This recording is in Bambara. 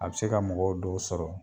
A bɛ se ka mɔgɔ dɔw sɔrɔ